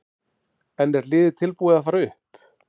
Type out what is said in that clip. En er liðið tilbúið til að fara upp?